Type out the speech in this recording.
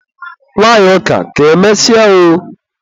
Nwanyị ọka, ka emesịa oooooooo.